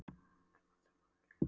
Um hann sem lá við hliðina á